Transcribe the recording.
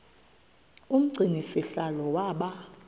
umgcini sihlalo waba